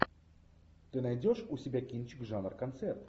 ты найдешь у себя кинчик жанр концерт